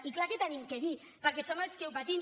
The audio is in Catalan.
i clar que hi tenim a dir perquè som els que ho patim